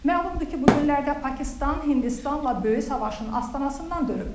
Məlumdur ki, bu günlərdə Pakistan Hindistanla böyük savaşın astanasından dönüb.